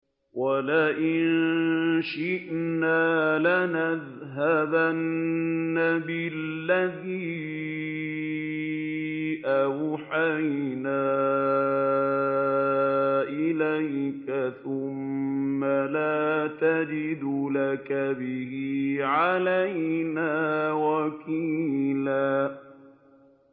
وَلَئِن شِئْنَا لَنَذْهَبَنَّ بِالَّذِي أَوْحَيْنَا إِلَيْكَ ثُمَّ لَا تَجِدُ لَكَ بِهِ عَلَيْنَا وَكِيلًا